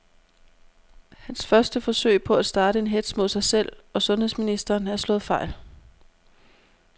Hans første forsøg på at starte en hetz mod sig selv og sundheds ministeren er slået fejl.